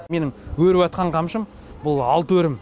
менің өріватқан қамшым бұл алты өрім